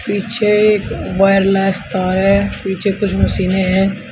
पीछे वायरलेस तार है पीछे कुछ मशीनें हैं।